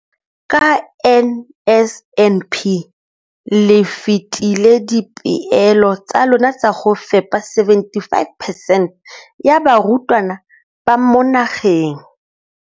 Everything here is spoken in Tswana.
Ka NSNP le fetile dipeelo tsa lona tsa go fepa masome a supa le botlhano a diperesente ya barutwana ba mo nageng.